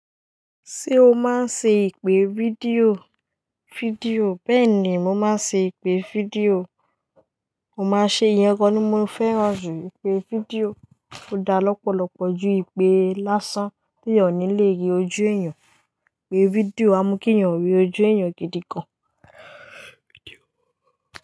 Ṣé o máa ń ṣe ìpè fídíò? Bẹ́ẹ̀ ni, mo máa ṣe ìpè fídíò. Mo máa ṣe ìyẹn, gan ni mo fẹ́ràn jù ìpè fídíò. Ó dá lọ́pọ̀lọpọ̀ ju ìpè lásán tí ẹ òní lè rí ojú èèyàn. Ìpè fídíò á mú kí èèyàn rí ojú èèyàn gidi gan.